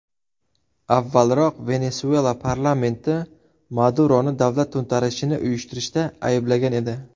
Avvalroq Venesuela parlamenti Maduroni davlat to‘ntarishini uyushtirishda ayblagan edi.